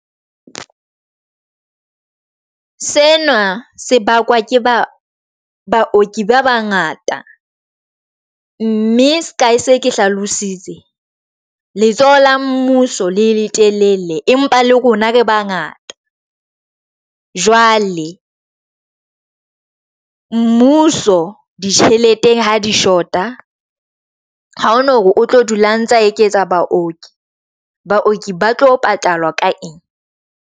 Sena sebaka ke ba baoki ba bangata mme ka ha se ke hlalositse letsoho la mmuso le letelele empa le rona re bangata jwale mmuso ditjheleteng ha di short-a ha hona hore o tlo dula antsa eketsa baoki, baoki ba tlo patalwa ka eng?